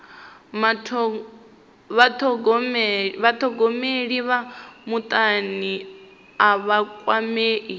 vhathogomeli vha mutani a vha kwamei